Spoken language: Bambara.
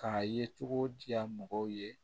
K'a ye cogo di ya mɔgɔw ye